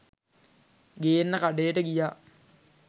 ගේන්න කඬේට ගියා.